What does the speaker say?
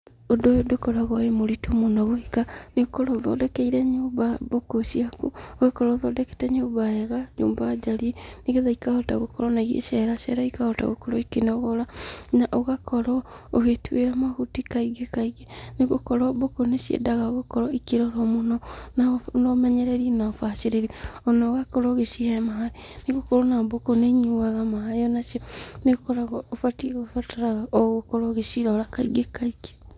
ūndū ūyū ndūkoragwo wĩ mūritū mūno gwĩka nĩūkorwo ūthondekeire nyūmba mbūkū ciaku, ūgakorwo ūthondeke nyūmba wega, nyūmba njariĩ nĩgetha ikahota gūkorwo ona igĩceracera ikahota gũkorwo ikĩĩnogora. Na ūgakorwo ūgĩtūĩra mahuti kaingĩ kaingĩ nĩgūkorwo mbūkū nĩciendaga gūkorwo ikĩrorwo mūno na na ūmenyereri na ūbacĩrĩri ona ūgakorwo ūgĩcihe maĩ nĩgūkorwo ona mbūkū nĩnyuaga maĩ onacio nĩūkoragwo ūbatiĩ kūbataraga ogūkorwo ūgĩcirora kaingĩ kaingĩ.